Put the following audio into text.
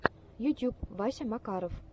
ютьюб вася макаров